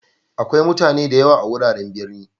Akwai mutani da yawa a'wuraren birni.